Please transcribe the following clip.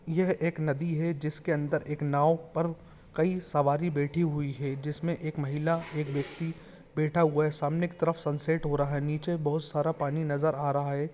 यह एक नदी है जिसके अंदर एक नाव पर कई सवारी बैठी हुई हैजिसम महिला एक व्यक्ति बैठा हुआ है सामने की तरफ सनसेट हो रहा है निचे बहुत सारा पानी नजर आ रहा है।